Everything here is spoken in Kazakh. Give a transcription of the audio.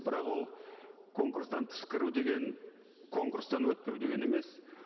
бірақ ол конкурстан тыс кіру деген конкурстан өтпеу деген емес